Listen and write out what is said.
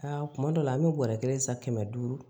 Aa kuma dɔ la an bɛ bɔrɛ kelen san kɛmɛ duuru